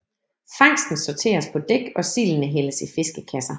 Fangsten sorteres på dæk og sildene hældes i fiskekasser